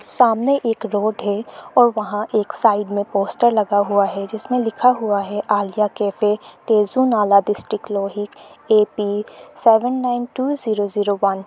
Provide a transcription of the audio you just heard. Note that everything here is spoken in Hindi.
सामने एक रोड है और वहां एक साइड में पोस्टर लगा हुआ है जिसमें लिखा हुआ है Aliya cafe Tezu Nala district Lohit AP seven nine two zero zero one.